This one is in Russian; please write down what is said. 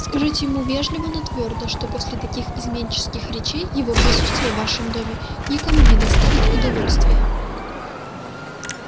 скажите ему вежливо но твёрдо что после таких изменнических речей его присутствие в вашем доме никому не доставит удовольствия